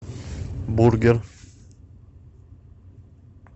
бургер